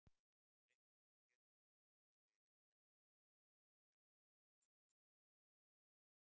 Reikningurinn getur því verið hærri eða lægri en dæmdur málskostnaður.